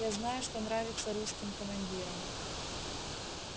я знаю что нравится русским командирам